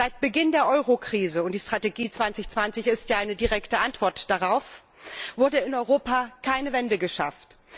Seit Beginn der Eurokrise und die Strategie Europa 2020 ist ja eine direkte Antwort darauf wurde in Europa keine Wende geschafft.